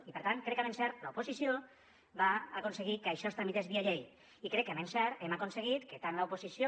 i per tant crec que amb encert l’oposició va aconseguir que això es tramités via llei i crec que amb encert hem aconseguit que tant l’oposició